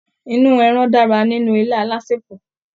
Inú ẹran dára nínú ilá alásèpọ̀.